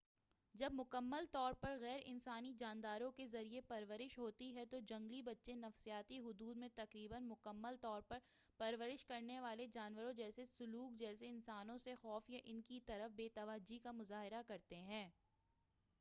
جب مکمل طور پر غیر انسانی جانداروں کے ذریعے پرورش ہوتی ہے تو جنگلی بچے نفسیاتی حدود میں تقریبا مکمل طور پر پرورش کرنے والے جانوروں جیسے سلوک جیسے انسانوں سے خوف یا ان کی طرف بے توجہی کا مظاہرہ کرتے ہیں۔